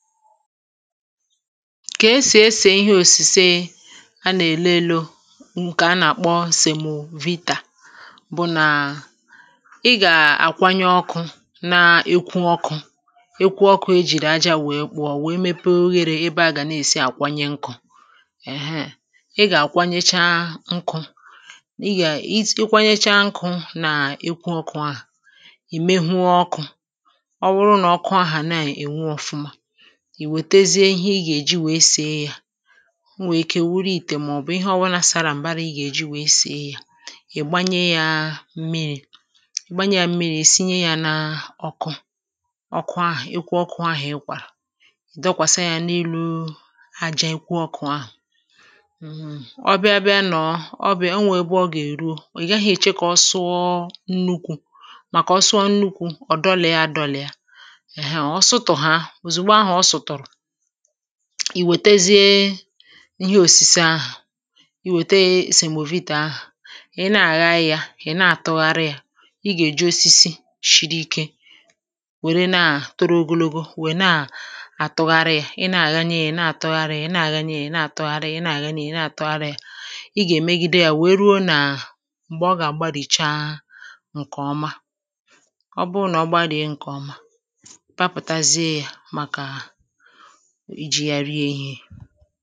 ka esì esì ịhe òsìseė anà-èle elu ǹkè anà-àkpọ sèmvita bụ nà ị gà-àkwanye ọkụ̇ na-ekwu ọkụ̇ ekwu ọkụ̇ ejìrì aja wèe kpụọ wèe mepe oghere ebe agà na-èsi àkwanye nkụ̇ èheè, ị gà-àkwanyecha nkụ̇ ị gà-akwanyecha nkụ̇ nà-ekwu ọkụ̇ ahụ̀ ì mehue ọkụ̇ ọ wụrụ nà ọkụ ahà naà ènwe ọ̀fụma i wètezie ihe ị gà-èji wèe sie ya o nwèe ike wuru ìtè màọbụ̀ ihe ọwụnȧ sara m̀gbara ị gà-èji wèe sie ya ị̀ gbanye yȧ mmiri̇ gbanye yȧ mmiri̇ sinye yȧ n’ọkụ ọkụ ahụ̀ ịkwụ ọkụ ahụ̀ ị kwàsa ya n’elu ajȧ ịkwụ ọkụ ahụ̀ ọ bịa abịa nọ̀ọ ọ bịa o nwèe bụ ọ gà-èru o ị̀ gaghị eche kà ọ sụọ nnukwu̇ màkà ọ sụọ nnukwu̇ ọ dọlị̀ a dọlị̀ a ọ sụtụ̀ ha ì wètezie ihe òsìse ahụ̀ i wète èsèmòvìtè ahụ̀ ị nà-àgharị ya, ị nà-àtụgharị ya ị gà-èju osisi shiri ike wère naa toro ogologo, wè naa àtụgharị ya, ị na-àghanye ya, ị na-àtụgharị ya, ị na-àghanye ya, ị na-àtụgharị ya ị na-àtụgharị ya, ị na-àtụgharị ya ị gà-èmegide ya wèe ruo nà m̀gbè ọ gà-àgbarìcha ǹkèọma ọ bụ nà ọ gbanìe ǹkèọma iji ya rie ihe